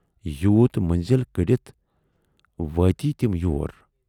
یوٗت منٔزل کٔڈِتھ وٲتۍ تِم یور۔